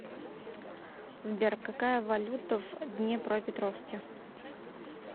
сбер какая валюта в днепропетровске